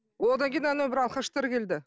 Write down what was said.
одан кейін анау бір алқаштар келді